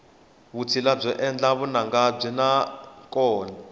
vutshila byo endla vunanga ndzi na byona